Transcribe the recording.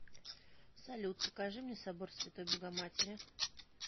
салют покажи мне собор святой богоматери